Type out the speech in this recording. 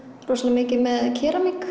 rosalega mikið með